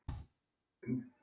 Helga: Er fólk óttaslegið?